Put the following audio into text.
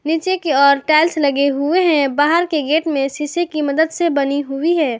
नीचे की ओर टाइल्स लगे हुए हैं बाहर के गेट में शीशे की मदद से बनी हुई है।